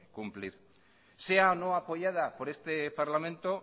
cumplir sea o no apoyada por este parlamento